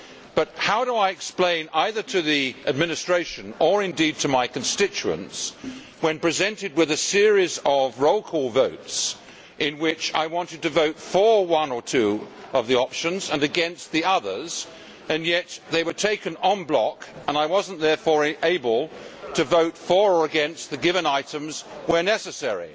But how do I explain either to the administration or indeed to my constituents that, when presented with a series of roll call votes in which I wanted to vote for one or two of the options and against the others, they were taken en bloc and I was therefore not able to vote for or against the given items where necessary?